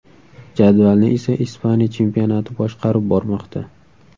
Jadvalni esa Ispaniya chempionati boshqarib bormoqda.